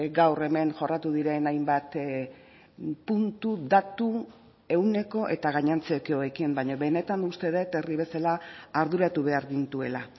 gaur hemen jorratu diren hainbat puntu datu ehuneko eta gainontzekoekin baina benetan uste dut herri bezala arduratu behar gintuela